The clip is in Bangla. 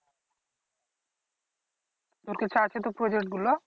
তোর কাছে আছে তো project গুলো?